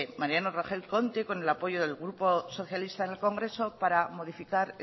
mariano rajoy cuente con el apoyo del grupo socialistas en el congreso para modificar